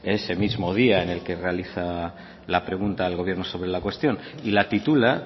ese mismo día en el que realiza la pregunta al gobierno sobre la cuestión y la titula